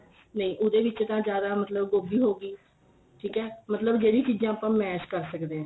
ਨਹੀਂ ਉਹਦੇ ਵਿੱਚ ਤਾਂ ਜਿਆਦਾ ਮਤਲਬ ਗੋਭੀ ਹੋ ਗਈ ਠੀਕ ਏ ਮਤਲਬ ਜਿਹੜੀ ਚੀਜਾਂ ਆਪਾਂ ਮਸ਼ ਕਰ ਸਕਦੇ ਆ